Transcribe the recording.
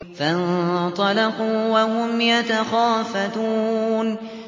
فَانطَلَقُوا وَهُمْ يَتَخَافَتُونَ